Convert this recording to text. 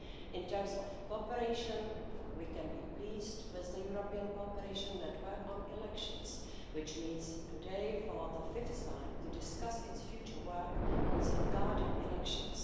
In terms of cooperation, we can be pleased with the European cooperation network on elections, which meets today for the fifth time to discuss its future work on safeguarding elections.